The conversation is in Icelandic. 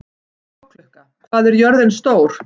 Bláklukka, hvað er jörðin stór?